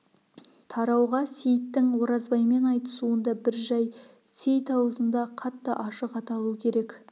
тарауға сейіттің оразбаймен айтысуында бір жай сейіт аузында қатты ашық аталу керек